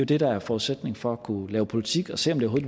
det der er forudsætningen for at kunne lave politik og se om det